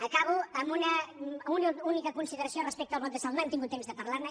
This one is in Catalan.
acabo amb una única consideració respecte al bloc de salt no hem tingut temps de parlarne